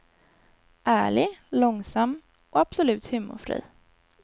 Ärlig, långsam och absolut humorfri.